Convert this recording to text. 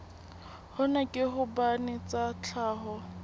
hona ke hobane tsa tlhaho